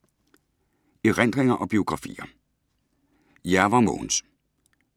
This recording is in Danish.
Erindringer og biografier